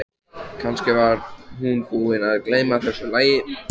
Kannski var hún búin að gleyma þessu lagi.